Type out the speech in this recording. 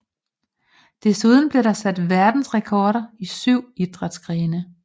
Desuden blev der sat verdensrekorder i 7 idrætsgrene